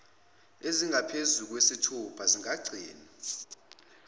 ezingaphezulu kwesithupha zingagcinwa